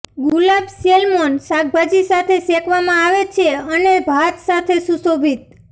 ગુલાબ salmon શાકભાજી સાથે શેકવામાં આવે છે અને ભાત સાથે સુશોભિત